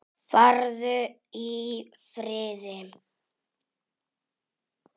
Farðu í friði.